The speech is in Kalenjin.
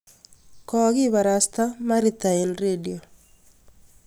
kokibarasta maritha eng rediot